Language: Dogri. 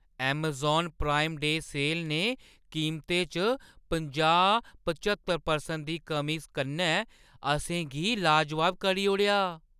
अमेज़ान प्राइम डे सेल ने कीमतें च पंजाह्-पच्हत्तर परसेंट दी कमी कन्नै असें गी लाजवाब करी ओड़ेआ।